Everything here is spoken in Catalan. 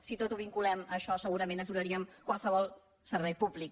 si tot ho vinculem a això segurament aturaríem qualsevol servei públic